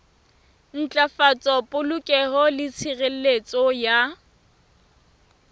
ntlafatsa polokeho le tshireletso ya